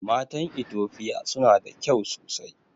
Matan itofia suna da kyau sosai